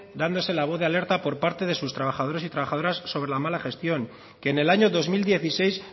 dándose la voz de alerta por parte de sus trabajadores y trabajadoras sobre la mala gestión que en el año dos mil dieciséis